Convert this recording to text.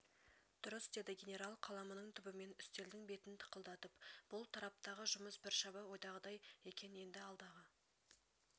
дұрыс деді генерал қаламының түбімен үстелдің бетін тықылдатып бұл тараптағы жұмыс біршама ойдағыдай екен енді алдағы